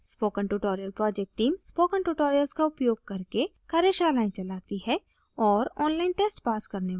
spoken tutorial project team spoken tutorials का उपयोग करके कार्यशालाएं चलाती है और online tests पास करने वालों को प्रमाणपत्र देते हैं